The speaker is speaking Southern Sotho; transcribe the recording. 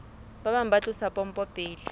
bang ba tlosa pompo pele